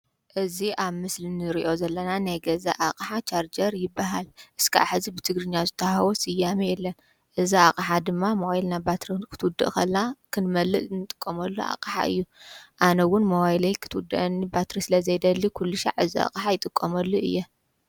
እዚ ኣብ ምስሊ ንርእዮ ዘለና ናይ ገዛ ኣቕሓ ቻርጀር ይበሃል። እስካብ ሐዚ ብትግርኛ ዝተዋህቦ ስያሜ የለን። እዚ ኣቕሓ ድማ ሞባይልና ባትሪ ክትውድእ ከላ ክንመልእ እንጥቀመሉ ኣቕሓ እዩ። ኣነ እውን ሞባይለይ ክትውደአኒ ባትሪ ስለዘይደሊ ኩልሻዕ እዚ ኣቕሓ ይጥቀመሉ እየ።